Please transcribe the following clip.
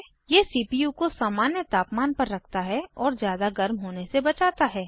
यह सीपीयू को सामान्य तापमान पर रखता है और ज़्यादा गर्म होने से बचाता है